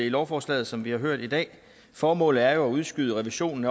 lovforslaget som vi har hørt i dag formålet er jo at udskyde revisionen